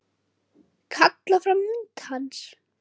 Kalla fram mynd hans.